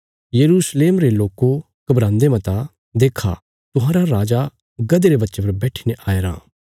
यरूशलेम रे लोको घबरान्दे मता देक्खा तुहांरा राजा गधे रे बच्चे पर बैठीने आया रां